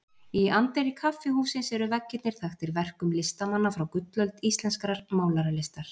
Í anddyri kaffihússins eru veggirnir þaktir verkum listamanna frá gullöld íslenskrar málaralistar.